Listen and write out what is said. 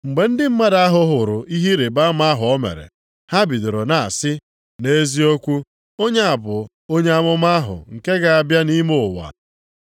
Mgbe ndị mmadụ ahụ hụrụ ihe ịrịbama ahụ, o mere ha bidoro na-asị, “Nʼeziokwu, onye a bụ onye amụma ahụ nke ga-abịa nʼime ụwa.”